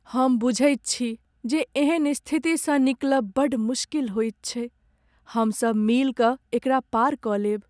हम बुझैत छी जे एहन स्थितिसँ निकलब बड़ मुश्किल होइत छै! हम सब मिल कऽ एकरा पार कऽ लेब।